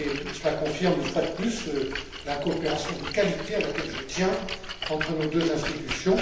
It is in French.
Cela confirme une fois de plus la coopération de qualité, à laquelle je tiens, entre nos deux institutions.